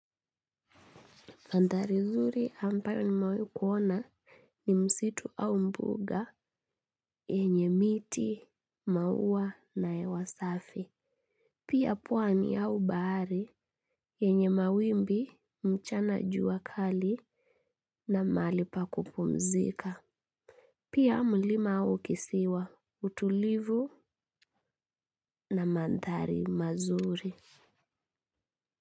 Anthari mzuri ambayo nimewaai kuona ni msitu au mbunga enye miti, maua na hewa safi. Pia pwani au bahari enye mawimbi mchana jua kali na mahali pa kupumzika. Pia mlima au kisiwa utulivu na mandhari mazuri.